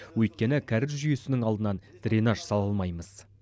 өйткені кәріз жүйесінің алдынан дренаж сала алмаймыз